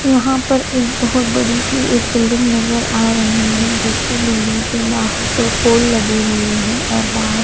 यहाँ पर एक बहोत बड़ी सी बिल्डिंग नजर आ रही है जिसकी बिल्डिंग दो पोल लगे हुए है और बाहर--